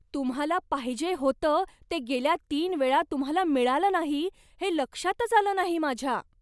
तुम्हाला पाहिजे होतं ते गेल्या तीन वेळा तुम्हाला मिळालं नाही, हे लक्षातच आलं नाही माझ्या.